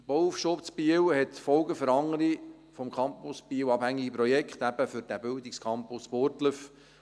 – Der Bauaufschub in Biel hat Folgen für andere vom Campus Biel abhängige Projekte, eben für diesen Bildungscampus Burgdorf.